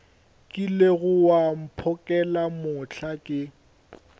kilego wa mphokela mohla ke